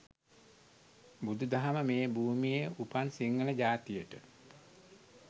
බුදු දහම මේ භූමියේ උපන් සිංහල ජාතියට